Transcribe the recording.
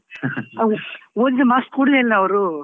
ಓದಿದ್ದು marks ಕೊಡ್ಲೆ ಇಲ್ಲ ಅವ್ರು.